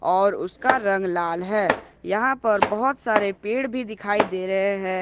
और उसका रंग लाल है यहां पर बहुत सारे पेड़ भी दिखाई दे रहे हैं।